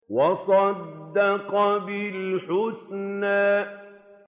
وَصَدَّقَ بِالْحُسْنَىٰ